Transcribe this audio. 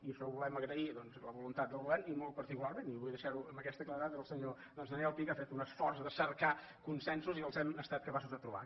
i això ho volem agrair doncs a la voluntat del govern i molt particularment i vull deixar·ho amb aquesta cla·redat al senyor daniel pi que ha fet un esforç de cercar consensos i hem estat capaços de trobar·los